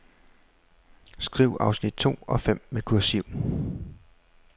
Skriv afsnit to og fem med kursiv.